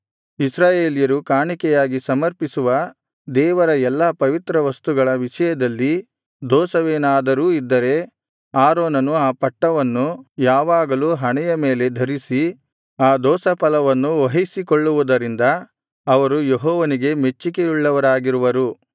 ಇಸ್ರಾಯೇಲ್ಯರು ಕಾಣಿಕೆಯಾಗಿ ಸಮರ್ಪಿಸುವ ದೇವರ ಎಲ್ಲಾ ಪವಿತ್ರವಸ್ತುಗಳ ವಿಷಯದಲ್ಲಿ ದೋಷವೇನಾದರೂ ಇದ್ದರೆ ಆರೋನನು ಆ ಪಟ್ಟವನ್ನು ಯಾವಾಗಲೂ ಹಣೆಯ ಮೇಲೆ ಧರಿಸಿ ಆ ದೋಷ ಫಲವನ್ನು ವಹಿಸಿಕೊಳ್ಳುವುದರಿಂದ ಅವರು ಯೆಹೋವನಿಗೆ ಮೆಚ್ಚಿಕೆಯುಳ್ಳವರಾಗಿರುವರು